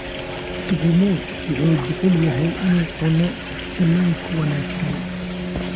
Tugumu wuxuu jecel yahay inuu cuno kalluunka wanaagsan.